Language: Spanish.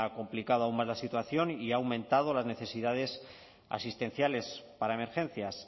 complicado aún más la situación y ha aumentado las necesidades asistenciales para emergencias